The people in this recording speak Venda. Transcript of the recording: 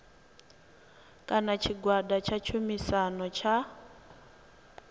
kana tshigwada tsha tshumisano tsha